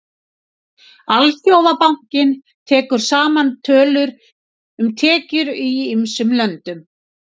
Alþjóðabankinn tekur saman tölur um tekjur í ýmsum löndum.